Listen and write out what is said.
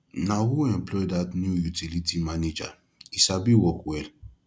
na who employ dat new utility manager he sabi work well